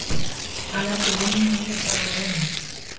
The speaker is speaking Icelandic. Hann leggur vinnu í þetta og reynir.